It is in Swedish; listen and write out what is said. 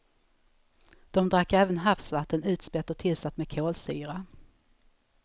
De drack även havsvatten, utspätt och tillsatt med kolsyra.